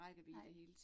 Nej